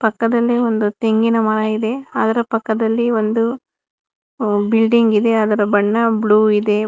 ಪಕ್ಕದಲ್ಲೇ ಒಂದು ತೆಂಗಿನ ಮರ ಇದೆ ಅದರ ಪಕ್ಕದಲ್ಲಿ ಒಂದು ಬಿಲ್ಡಿಂಗ್ ಇದೆ ಅದರ ಬಣ್ಣ ಬ್ಲೂ ಇದೆ.